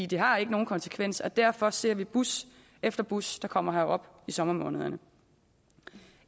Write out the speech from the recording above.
det har ikke nogen konsekvens og derfor ser vi bus efter bus der kommer herop i sommermånederne